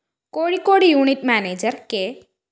Kozhikode unit manager K